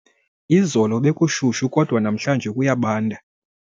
Izolo bekushushu kodwa namhlanje kuyabanda.